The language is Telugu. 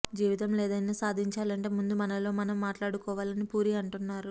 జీవితంలో ఏదైనా సాధించాలంటే ముందు మనలో మనం మాట్లాడుకోవాలి అని పూరి అంటున్నారు